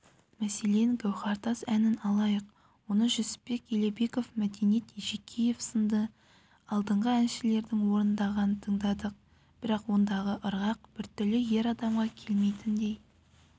мәселен гауһартас әнін алайық оны жүсіпбек елебеков мәдениет ешекеев сынды алдыңғы әншілердің орындағанын тыңдадық бірақ ондағы ырғақ біртүрлі ер адамға келмейтіндей